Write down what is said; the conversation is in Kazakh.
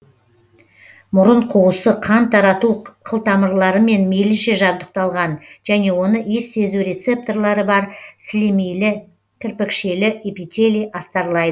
мұрын қуысы қан тарату қылтамырларымен мейлінше жабдықталған және оны иіс сезу рецепторлары бар сілемейлі кірпікшелі эпителий астарлайды